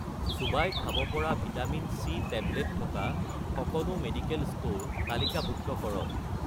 চোবাই খাব পৰা ভিটামিন-চি টেবলেট থকা সকলো মেডিকেল ষ্ট'ৰ তালিকাভুক্ত কৰক